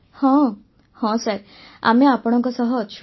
ବର୍ଷାବେନ୍ ହଁ ହଁ ସାର୍ ଆମେ ଆପଣଙ୍କ ସହ ଅଛୁ